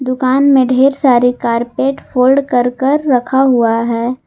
दुकान में ढेर सारी कारपेट फोल्ड कर कर रखा हुआ है।